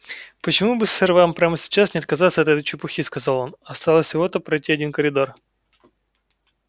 почему бы сэр вам прямо сейчас не отказаться от этой чепухи сказал он осталось всего-то пройти один коридор